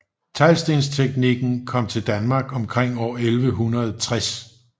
Teglstensteknikken kom til Danmark omkring år 1160